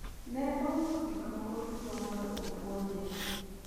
ne ouso gik moko duto mondo opuonje